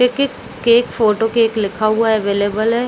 --Cake cake photo cake लिखा हुआ है अवेलेबल है।